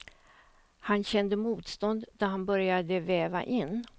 Han kände motstånd då han började veva in.